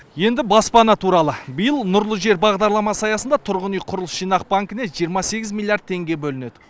енді баспана туралы биыл нұрлы жер бағдарламасы аясында тұрғын үй құрылыс жинақ банкіне жиырма сегіз миллиард теңге бөлінеді